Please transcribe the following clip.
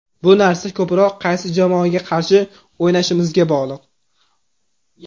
Bu narsa ko‘proq qaysi jamoaga qarshi o‘ynashimizga bog‘liq.